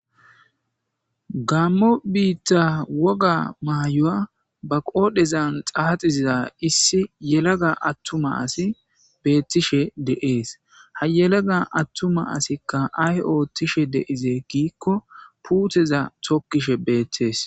gammo biitta woga maayoya ba qoodhezan xaaxiziza issi yelaga attuma asi beettishe deees ha yelaga attuma asikka ay oottishe deizee giikko puuteza tokkishe beettees